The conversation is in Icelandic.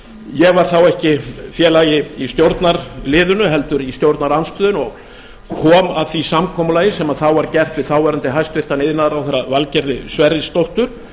ég var þá ekki félagi í stjórnarliðinu heldur í stjórnarandstöðunni og kom að því samkomulagi sem þá var gert við hæstvirtur þáverandi iðnaðarráðherra valgerði sverrisdóttur